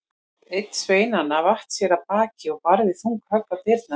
Einn sveinanna vatt sér af baki og barði þung högg á dyrnar.